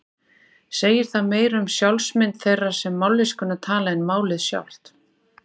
Segir það meira um sjálfsmynd þeirra sem mállýskuna tala en málið sjálft.